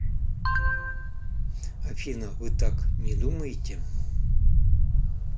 афина вы так не думаете